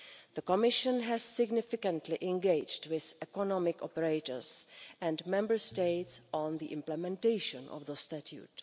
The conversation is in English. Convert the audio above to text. The Commission has significantly engaged with economic operators and Member States on the implementation of the statute.